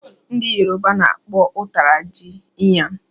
Ndị yourba na-akpọ ụtara jị "iyan"